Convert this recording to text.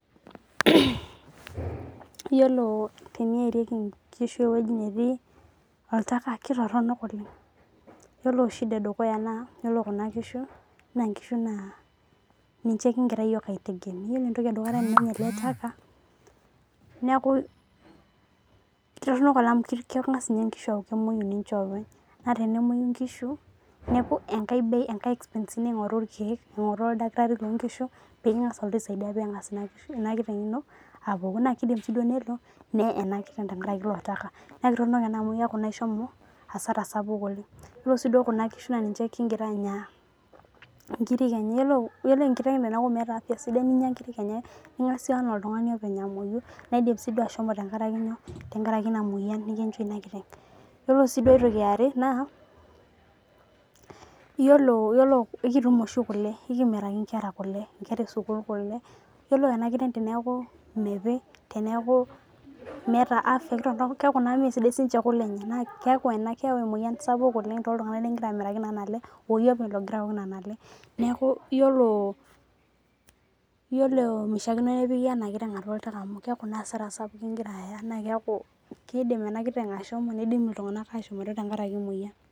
Iyilo teneerieki nkishu ewoi natii oltaka ketoron oleng ore shida edukuya na ore kuna kishu na ninche yioo kingira aitegemea na ore ele taka neaku toronok amu kengas nkisu aaku kemwoi ningoru oldakitari lonkishu ningaaa aisaidia pingasa enakiteng emoyi nakeli nee tenkaraki eletaka neaku ishomo asara oleng ore si kuna kishu na ninche kingira anya ingiri enye ningasa amoyu na indim ashomo tenkaraki inamoyian nikinchoo inakiteng yiolo si aitoki eare na yiolo ekitum oshi kule ekimiraki nkera esukul kule yiolo enakiteng teneaku mepii keaku ena keyau emoyian saouk toltunganak lingira amuraki nona aale oyie openy ningira aok nona aale neaky iyolo mishaakino nepiki enakitenga atua oltaka na kidik enakiteng ashomo nindim ltunganak ashomoita tenkaraki emoyian